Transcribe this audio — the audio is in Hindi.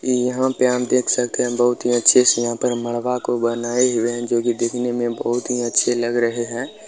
ई यहाँ पे आप देख सकते हैं बहुत ही अच्छे से यहाँ पे मड़वा को बनाए हुए हैं जोकि दिखने में बहुत ही अच्छे लग रहे हैं।